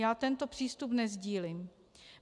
Já tento přístup nesdílím.